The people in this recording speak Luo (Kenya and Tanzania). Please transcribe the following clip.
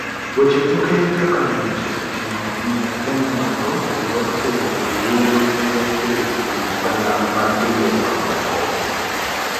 Weche tuke kaka ng'uech oseting'o nying' kenya malo kendo oseyudo luor makende kowuok kuom oganda mag pinje mamoko.